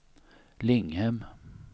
Linghem